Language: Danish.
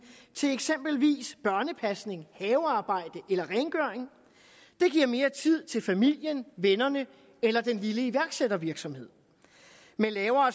til eksempelvis børnepasning havearbejde eller rengøring det giver mere tid til familien vennerne eller den lille iværksættervirksomhed med lavere